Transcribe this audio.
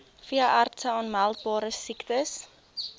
veeartse aanmeldbare siektes